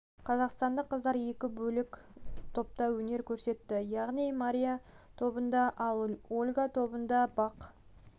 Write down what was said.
және қазақстандық қыздар екі бөлек топта өнер көрсетті яғни мария тобында ал ольга тобында бақ